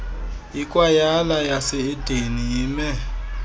ikwayala yaseedeni ime